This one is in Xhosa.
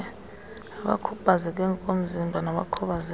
abakhubazeke ngokomzimba nabakhubazeke